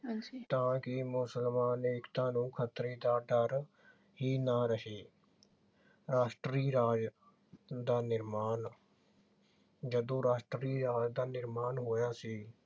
ਤਾਂ ਕਿ ਮੁਸਲਮਾਨ ਏਕਤਾ ਨੂੰ ਖਤਰੇ ਦਾ ਡਰ ਹੀ ਨਾ ਰਹੇ। ਰਾਸ਼ਟਰੀ ਰਾਜ ਦਾ ਨਿਰਮਾਣ। ਜਦੋਂ ਰਾਸ਼ਟਰੀ ਰਾਜ ਦਾ ਨਿਰਮਾਣ ਹੋਇਆ ਸੀ